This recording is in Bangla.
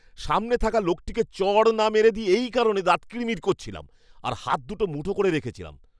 সামনে থাকা লোকটিকে চড় না মেরে দিই এই কারণে দাঁত কিড়মিড় করছিলাম আর হাত দুটো মুঠো করে রেখেছিলাম।